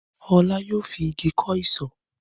Ọlá yóò fi igi kọ́ isọ̀.